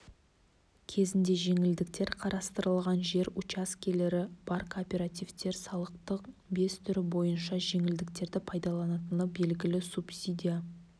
кезінде жеңілдіктер қарастырылған жер учаскелері бар кооперативтер салықтың бес түрі бойынша жеңілдіктерді пайдаланатыны белгілі субсидия